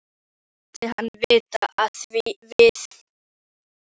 Ég læt hann vita, að við höfum lokið máli okkar.